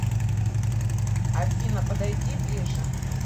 афина подойди ближе